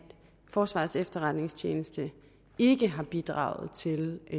forsvarets efterretningstjeneste ikke har bidraget til at